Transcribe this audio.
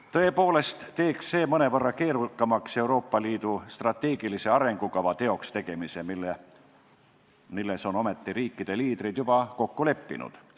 Tõepoolest teeks see mõnevõrra keerukamaks Euroopa Liidu strateegilise arengukava teokstegemise, milles on riikide liidrid ometi juba kokku leppinud.